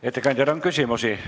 Ettekandjale on küsimusi.